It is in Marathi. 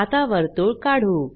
आता वर्तुळ काढू